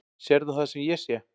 Sérðu það sem ég sé?